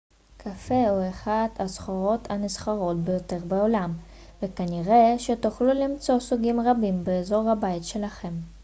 קפה הוא אחת הסחורות הנסחרות ביותר בעולם וכנראה שתוכלו למצוא סוגים רבים באזור הבית שלכם